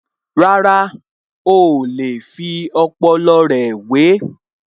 Rárá, oò lè fi ọpọlọ rẹ̀ wè é